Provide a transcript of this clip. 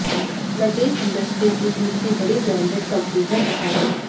luggage industry की तीसरी बड़ी ब्रांडेड कंपनी है सफारी